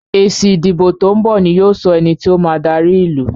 èsì ìdìbò to'n bọ ní yóò sọ ení tíó ma dari ilú.